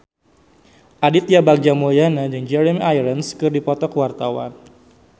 Aditya Bagja Mulyana jeung Jeremy Irons keur dipoto ku wartawan